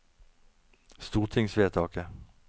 stortingsvedtaket